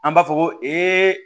An b'a fɔ ko